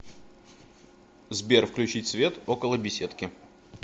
сбер включить свет около беседки